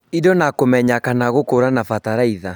Indo na kũmenya kana gũkũrana bataraitha